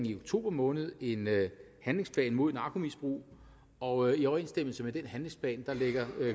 i oktober måned en handlingsplan mod narkomisbrug og i overensstemmelse med den handlingsplan lægger